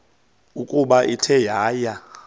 ukuba ithe yaya